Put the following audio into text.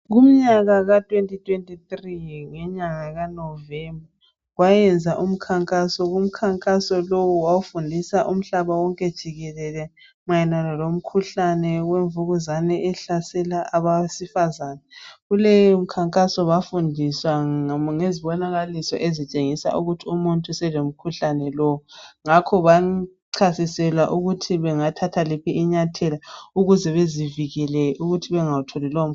Kumnyaka ka2023 ngenyanga kaNovember kwayenziwa umkhankaso, umkhankaso lowu wawufundisa umhlaba wonke jikelele mayelana lomkhuhlane wemvukuzane ehlasela abesifazana. Kuleyo mkhankaso bafundiswa ngezibonakaliso ezitshengisa ukuthi umuntu selomkhuhlane lowu ngakho bachasiselwa ukuthi bangathatha liphi inyathelo ukuze bezivikele kulowomkhuhlane.